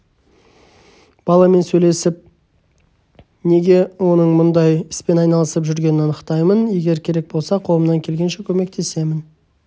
баламен сөйлесіп оның неге мұндай іспен айналысып жүргенін анықтаймын егер керек болса қолымнан келгенше көмектесемін